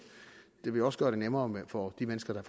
det vil også gøre det nemmere for de mennesker der